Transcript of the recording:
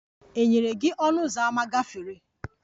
E nyere gị ọnụ ụzọ ámá gafere?